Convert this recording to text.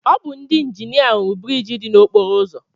Ọ bụ ndị injinia rụrụ biriiji dị n'okporo ụzọ